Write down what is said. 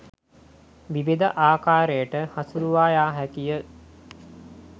විවිධ ආකාරයකට හසුරුවා යා හැකියි.